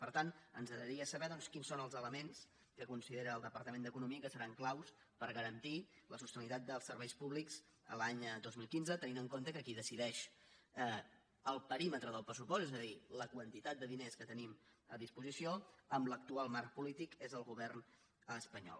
per tant ens agradaria saber doncs quins són els elements que considera el departament d’economia que seran claus per garantir la sostenibilitat dels serveis públics l’any dos mil quinze tenint en compte que qui decideix el perímetre del pressupost és a dir la quantitat de diners que tenim a disposició amb l’actual marc polític és el govern espanyol